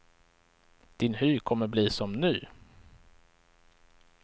Din hy kommer bli som ny.